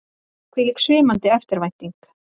Hvílík svimandi eftirvænting!